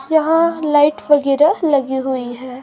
यहां लाइट वगैरह लगी हुई है।